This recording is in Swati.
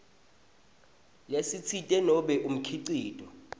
lesitsite nobe umkhicito